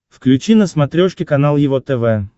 включи на смотрешке канал его тв